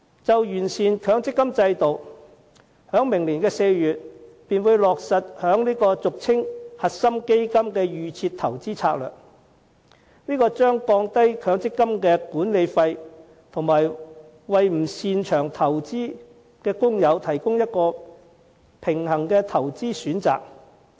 就完善強積金制度，當局在明年4月便會落實俗稱"核心基金"的"預設投資策略"，這將降低強積金的管理費，以及為不擅長投資的工友提供一個平衡的投資選擇。